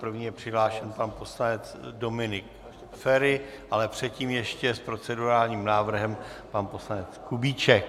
První je přihlášen pan poslanec Dominik Feri, ale předtím ještě s procedurálním návrhem pan poslanec Kubíček.